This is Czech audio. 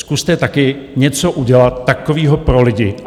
Zkuste taky něco udělat takového pro lidi.